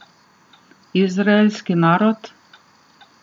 Izraelski narod?